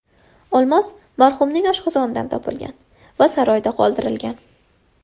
Olmos marhumning oshqozonidan topilgan va saroyda qoldirilgan.